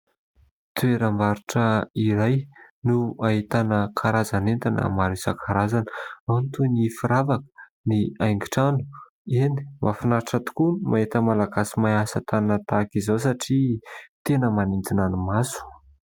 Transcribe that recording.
Toeram-barotra iray no ahitana karazan'entana maro isan-karazany. Ao ny toy ny firavaka, ny haingon-trano. Eny, mahafinaritra tokoa ny mahita malagasy mahay asa tànana tahaka izao satria tena manintona ny maso.